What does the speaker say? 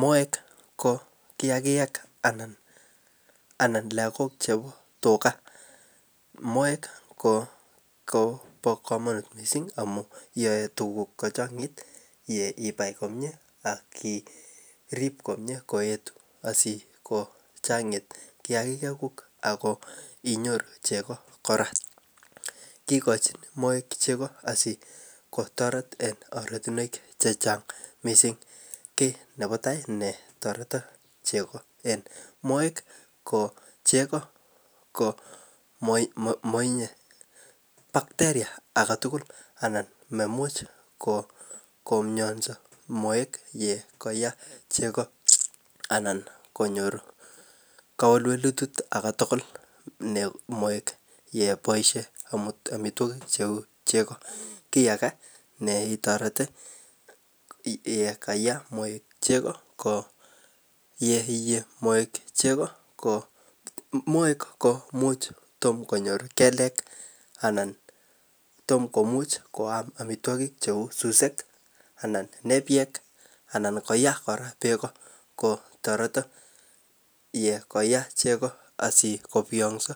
Moek ko kiagik anan lakok chebo tuga , moek koba kamanut missing yae tuguk ko chang'it yeie akibai komie iribe komie koet asiko chang'it kiagik kuuk ak inyoru chego kora . Kigochin moek kochang'it en ortinuek chechang missing nebo tai kotareti cheko en moek , ko cheko ko matinye bakteria agetugul anan maimuchi komiansovmoek yekaye cheko. Ko anan konyor kowelwelutik alak tugul yebaishen amituagig cheuu chego kiagas netoreti yeka yam moek cheko ko . Ko much tom konyor kelek anan tom komuch koam amituakik cheuu susuek anan koye kora bek kotareti asiko biyang'so